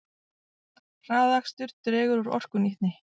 Hraðakstur dregur úr orkunýtni